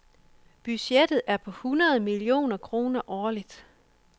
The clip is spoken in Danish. Budgettet er på hundrede millioner kroner årligt.